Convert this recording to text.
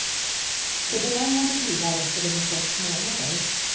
För begagnade bilar räcker det med sex månader.